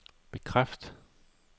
bekræft